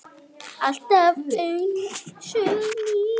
Alltaf einsog nýr.